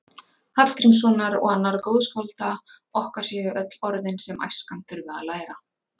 Hallgrímssonar og annarra góðskálda okkar séu öll orðin sem æskan þurfi að læra.